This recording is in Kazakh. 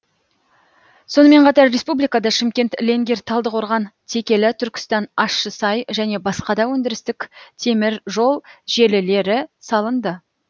сонымен қатар республикада шымкент ленгер талдықорған текелі түркістан ащысай және басқа да өндірістік теміржол желілері салынды